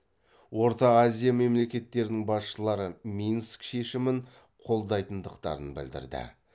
орта азия мемлекеттерінің басшылары минск шешімін қолдайтындықтарын білдірді